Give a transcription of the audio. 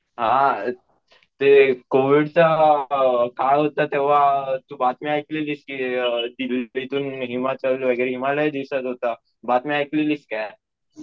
हा ते कोविड चा काळ होता तेव्हा तू बातमी ऐकलेलीस कि ते हिमालय दिसत होता. बातमी ऐकलेलीस काय